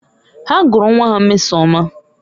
Ha gụrụ nwa ha Mmesoma